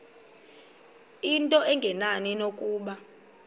into engenani nokuba